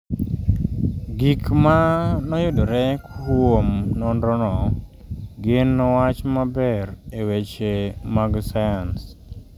Gik ma noyudore kuom nonrono gin wach maber e weche mag sayans.